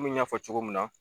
Munnun y'a fɔ cogo mun na.